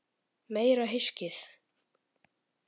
Meira hyskið!